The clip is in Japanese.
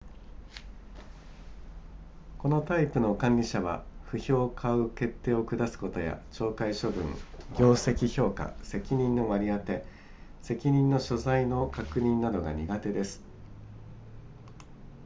このタイプの管理者は不評を買う決定を下すことや懲戒処分業績評価責任の割り当て責任の所在の確認などが苦手です